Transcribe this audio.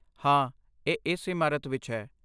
ਹਾਂ, ਇਹ ਇਸ ਇਮਾਰਤ ਵਿੱਚ ਹੈ।